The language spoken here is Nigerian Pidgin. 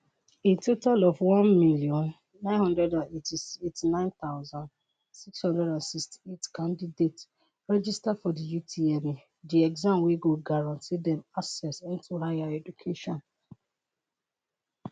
a total of 1989668 candidates register for di utme di exam wey go guarantee dem access into higher education.